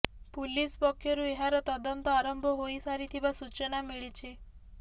police ପକ୍ଷରୁ ଏହାର ତଦନ୍ତ ଆରମ୍ଭ ହୋଇସାରିଥିବା ସୂଚନା ମିଳିଛି